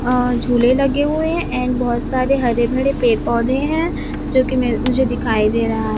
अं झूले लगे हुए हैं एंड बहोत सारे हरे भरे पेड़ पौधे हैं जो कि मैं मुझे दिखाई दे रहा है।